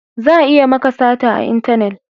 Za a iya maka sata a intanet